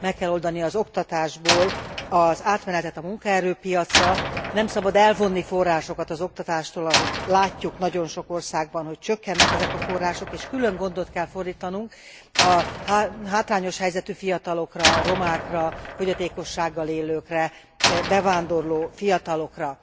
Meg kell oldani az oktatásból az átmenetet a munkaerőpiacra, nem szabad elvonni forrásokat az oktatástól ahogy látjuk nagyon sok országban, hogy csökkennek ezek a források és külön gondot kell fordítanunk a hátrányos helyzetű fiatalokra, romákra, fogyatékossággal élőkre, bevándorló fiatalokra.